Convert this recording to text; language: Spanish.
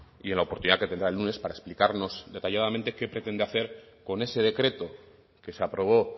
y en la oportunidad que tendrá el lunes para explicarnos detalladamente qué pretende hacer con ese decreto que se aprobó